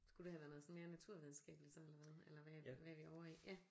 Skulle det have været noget sådan mere naturvidenskabeligt så eller hvad eller hvad hvad er vi ovre i ja